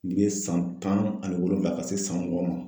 N ye san tan ani wolonwula ka se san mugan ma.